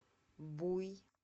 буй